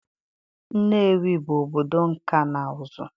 Nnewi bụ obodo nkà na ụzụ.